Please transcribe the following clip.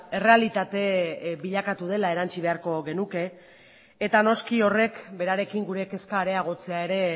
errealitate bilakatu dela erantsi beharko genuke eta noski horrek berarekin gure kezka areagotzea ere